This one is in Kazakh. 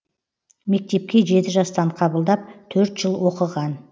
мектепке жеті жастан қабылдап төрт жыл оқыған